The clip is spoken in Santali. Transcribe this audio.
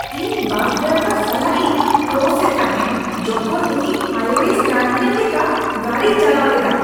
ᱤᱧ ᱵᱟᱥ ᱰᱨᱟᱭᱵᱷᱟᱨ ᱥᱟᱞᱟᱜ ᱤᱧ ᱠᱨᱚᱥ ᱮᱫ ᱛᱟᱦᱮᱸ ᱡᱚᱠᱷᱚᱱ ᱩᱱᱤ ᱦᱟᱭᱳᱭᱮᱨᱮ ᱥᱴᱟᱱᱴᱢᱮᱹᱱ ᱞᱮᱠᱟ ᱜᱟᱹᱰᱤᱭ ᱪᱟᱞᱟᱣ ᱞᱮᱫᱟ ᱾